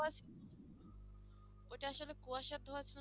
ধোঁয়াশা